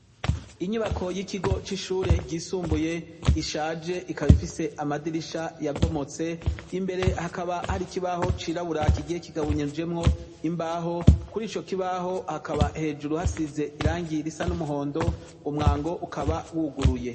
Inyubako yikigo cisumbuye gishaje ikaba ifise amadirisha yabomotse imbere hakaba hari ikibaho cirabura kigiye kigabnyijwemwo imbaho kurico kibaho hakaba hejuru hasize irangi risa n'umuhondo umwango ukaba wuguruye.